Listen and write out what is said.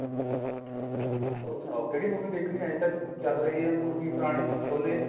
ਹੋਰ ਸਨਾਓ ਕਿਹੜੀ movie ਦੇਖਣੀ ਹਜੇ ਤੱਕ ਚੱਲ ਰਹੀ ਹੈ